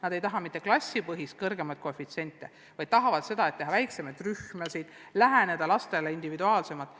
Nad ei taha mitte klassipõhiseid kõrgemaid koefitsiente, vaid tahavad teha väiksemaid rühmasid, läheneda lastele individuaalsemalt.